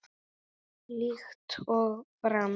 Líkt og fram